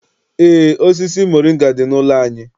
Eé, osisi moringa dị n'ụlọ anyị.